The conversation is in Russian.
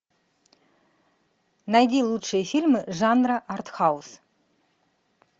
найди лучшие фильмы жанра артхаус